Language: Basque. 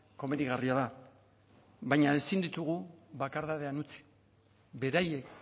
komenigarria da baina ezin ditugu bakardadean utzi beraiek